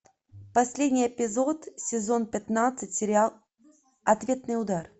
последний эпизод сезон пятнадцать сериал ответный удар